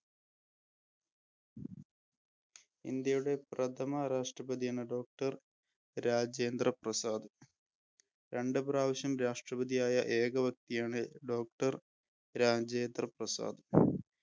ഇന്ത്യയുടെ പ്രഥമ രാഷ്ട്രപതിയാണ് Doctor രാജേന്ദ്രപ്രസാദ്. രണ്ടുപ്രാവശ്യം രാഷ്ട്രപതിയായ ഏക വ്യക്തിയാണ് Doctor രാജേന്ദ്രപ്രസാദ്.